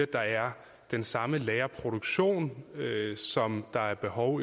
der er den samme lærerproduktion som der er behov